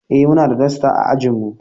Eh muna da dasta a ajin mu.